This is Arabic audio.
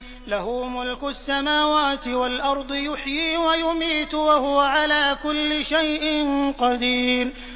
لَهُ مُلْكُ السَّمَاوَاتِ وَالْأَرْضِ ۖ يُحْيِي وَيُمِيتُ ۖ وَهُوَ عَلَىٰ كُلِّ شَيْءٍ قَدِيرٌ